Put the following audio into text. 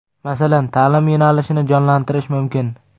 Masalan, ta’lim yo‘nalishini jonlantirish mumkin.